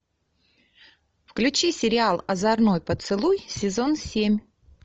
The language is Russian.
включи сериал озорной поцелуй сезон семь